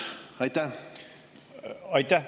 Aitäh!